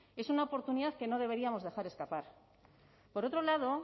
es una oportunidad que no deberíamos dejar escapar por otro lado